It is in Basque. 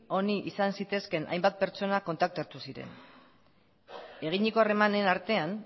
honi izan zitezkeen hainbat pertsona kontaktatuziren eginiko harremanen artean